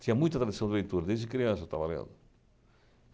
Tinha muita tradição de leitura, desde criança eu estava lendo.